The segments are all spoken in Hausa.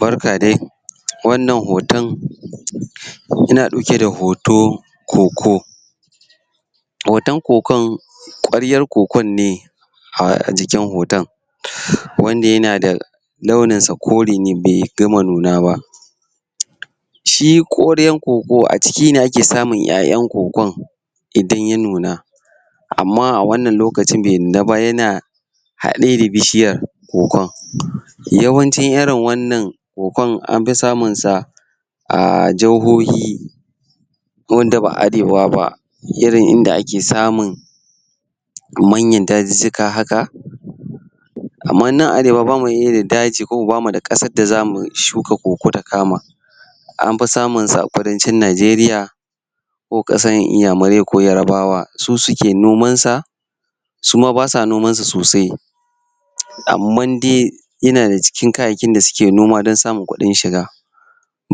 Barka dai wannan hoton yana ɗauke da hoton kokon hoton kokon ƙwaryar kokon ne a jikin hoton wannan yana da launins kore ne bai gama nuna ba. shi ƙwaryar koko a ciki ne ake samun ƴaƴan kokon idan ya nuna. amma awannan lokacin bai nuna ba yana haɗe da bishiyar kokon. Yawanci irin wannan kokon an fi samunsa a jahohin wanda ba Arewa ba, irin in da ake samu manyan dazuzzuka haka Kamar nan Arewa ba mu da daji ba mu dairin ƙasar da za mu shuka koko ta kama. Am fi samunsa a Kudancin Najeriya. ko ƙasar Inyamurai ko Yarabawa su suke nomansa, su ma ba sa nomansa sosai amman dai yana nan cikin kayayyakin da suke nomawa don samun kuɗin shiga.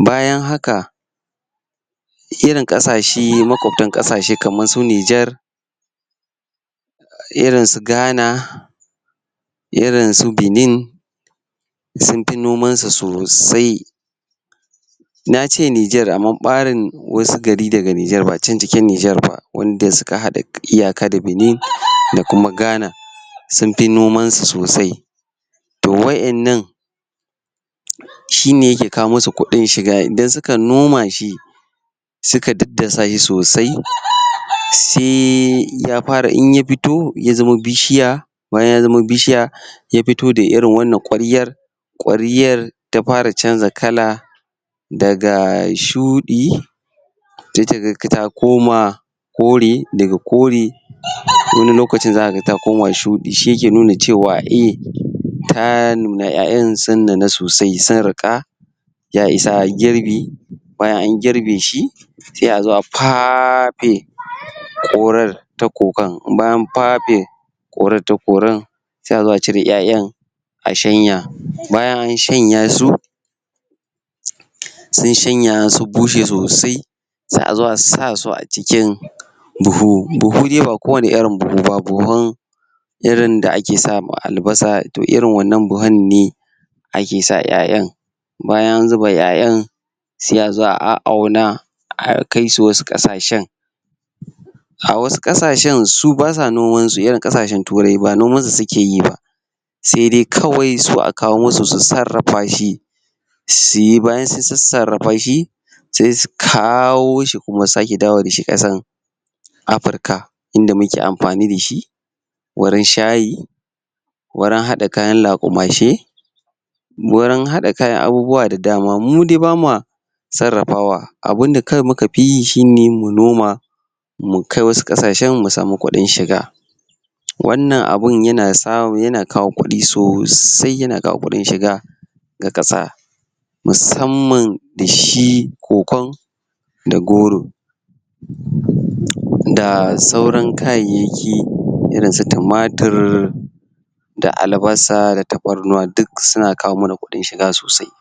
bayan haka. Irin ƙasashe maƙabtan ƙasashe kamar irinsu Nijar irinsu Ghana irinsu Benin sun fi nomansu sosai. Na ce Nijar amma ɓarin wasu gari daga NIjar ba can cikin Nijar ba wanda suke haɗa iyaka da Benin da kuma Ghana sun fi nomanshi sosai. to wa'innan shi ne yake kawo masu kuɗin shiga idan suka noma shi suka daddasa shi sosai, sai ya fara in ya fito ya zama bishiya bayan ya zama bishiya ya fito da irin wannan ƙwaryar ƙwaryar ta fara canja kala daga shuɗi sai ka ga ta koma kore. Daga kore wani lokacin ta koma shuɗi ashi yake nuna cewa eh ta nuna, ƴaƴan sun nuna sosai, ta riƙa. ya isa girbi bayan an girbe shi sai azo a fafe ƙwaryar da ƙoƙon bayan an fafe ƙwaryar da ƙoren sai a zo a cire ƴaƴan a sahnaya bayan an shanya su an shanya sun bushe sosai sai a zo a sa su acikin buhu, buhu dai ba kowane irin buhu ba, buhun da irin wanda ake sa ma albasa to irin wannan buhun en ake sa ƴaƴan bayan an zuba ƴaƴan sai a zo a a auna akai su wasu ƙasashen. a wasu ƙasashen su ba sa nomanshi kamar ƙasashen Turai sai dai kawai su a kawo musu su sarrafa shi su yi bayan sun sassarafa shi sai su kawo shi kuma su sake maida shi ƙasar Africa in da muke amfani da shi wurin shayi wurin haɗa kayan laƙumashe waurin haɗa kayan abubuwa da dama. Mu daii ba ma sarrafawa abun da kawai muka fi yi shi ne mu noma mu kai wasu ƙasashen mu samu kuɗin shiga Wannan abun yana kawo kuɗi sosai yana kawo kuɗin shiga. ga ƙasa. Musamman da shi kokon da goro da sauran kayyayaki irnsu tumatur da albasa da tafarnuwa duk suna kawo mana kuɗin shiga sosai.